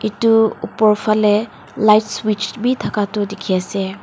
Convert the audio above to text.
etu opor falae light switch bi taka tho tiki ase.